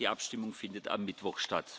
Die Abstimmung findet am Mittwoch,